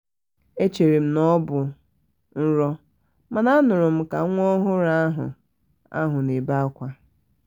echere m na ọ bụ nrọ mana m nụrụ ka nwa ọhụrụ ahụ ahụ na-ebe ákwà